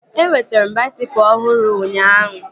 Enwetere m baisikụl ọhụrụ ụnyaahụ